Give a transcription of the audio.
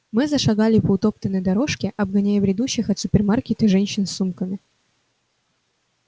мы зашагали по утоптанной дорожке обгоняя бредущих от супермаркета женщин с сумками